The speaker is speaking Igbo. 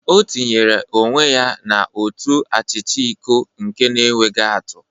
O tinyere onwe ya na ụtọ achicha nke iko na-enweghị atụ.